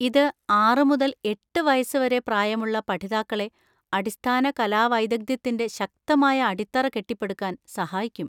ഇത് ആറ് മുതൽ എട്ട് വയസ് വരെ പ്രായമുള്ള പഠിതാക്കളെ അടിസ്ഥാന കലാ വൈദഗ്ധ്യത്തിന്‍റെ ശക്തമായ അടിത്തറ കെട്ടിപ്പടുക്കാൻ സഹായിക്കും.